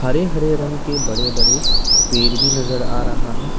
हरे हरे रंग के बड़े बड़े पेड़ भी नजर आ रहा है।